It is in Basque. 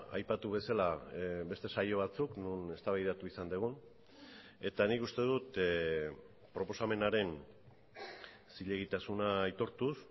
aipatu bezala beste saio batzuk non eztabaidatu izan dugun eta nik uste dut proposamenaren zilegitasuna aitortuz